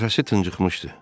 Nəfəsi tıxıqmışdı.